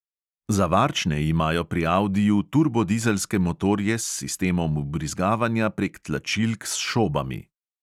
Za varčne imajo pri audiju turbodizelske motorje s sistemom vbrizgavanja prek tlačilk s šobami.